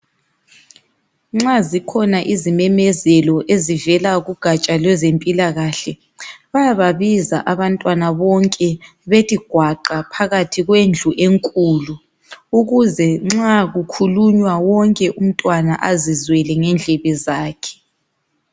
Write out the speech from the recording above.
Nxa zikhona izimemezelo ezivela kugatsha lwezempilakahle bayababiza abantwana bonke bethi gwaqa phakathi kwendlu enkulu ukuze ncxa kukhulunywa wonke umntwana azizwele ngendlebe zakhe.